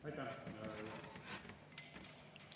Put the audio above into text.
Aitäh!